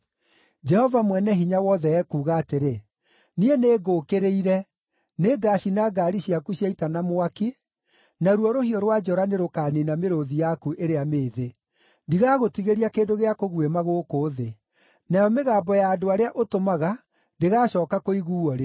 Jehova Mwene-Hinya-Wothe ekuuga atĩrĩ, “Niĩ nĩngũũkĩrĩire. Nĩngacina ngaari ciaku cia ita na mwaki, naruo rũhiũ rwa njora nĩrũkaniina mĩrũũthi yaku ĩrĩa mĩĩthĩ. Ndigagũtigĩria kĩndũ gĩa kũguĩma gũkũ thĩ. Nayo mĩgambo ya andũ arĩa ũtũmaga ndĩgaacooka kũiguuo rĩngĩ.”